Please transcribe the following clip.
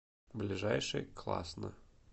ближайший класна